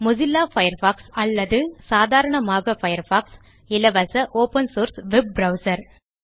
Mozilla Firefox அல்லது சாதாரணமாக Firefox இலவச ஒப்பன் சோர்ஸ் வெப் ப்ரவ்சர்